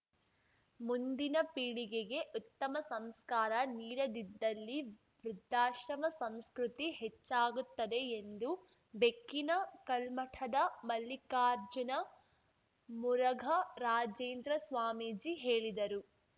ಮುಂದಿನ ಪೀಳಿಗೆಗೆ ಉತ್ತಮ ಸಂಸ್ಕಾರ ನೀಡದಿದ್ದಲ್ಲಿ ವೃದ್ಧಾಶ್ರಮ ಸಂಸ್ಕೃತಿ ಹೆಚ್ಚಾಗುತ್ತದೆ ಎಂದು ಬೆಕ್ಕಿನ ಕಲ್ಮಠದ ಮಲ್ಲಿಕಾರ್ಜುನ ಮುರಘರಾಜೇಂದ್ರ ಸ್ವಾಮೀಜಿ ಹೇಳಿದರು